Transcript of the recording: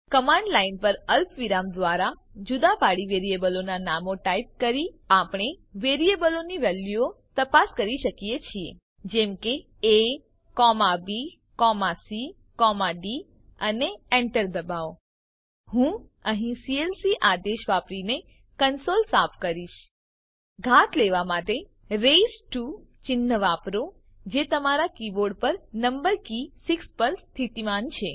command line પર અલ્પવિરામ દ્વારા જુદા પાડી વેરીએબલોનાં નામો ટાઈપ કરીને આપણે વેરીએબલોની વેલ્યુઓ તપાસ કરી શકીએ છીએ જેમ કે abcડી અને enter દબાવો હું અહીં સીએલસી આદેશ વાપરીને કંસોલ સાફ કરીશ ઘાત લેવા માટે રેઇઝ્ડ ટીઓ ચિહ્ન વાપરો જે તમારા કીબોર્ડ પર નમ્બર કી 6 પર સ્થિતિમાન છે